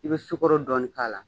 I bɛ sukɔrɔ dɔɔni k'a la